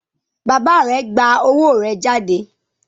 Bàbá rẹ gbà owó rẹ jáde?